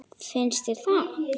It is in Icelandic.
Finnst þér það?